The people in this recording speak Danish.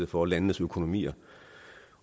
for landenes økonomier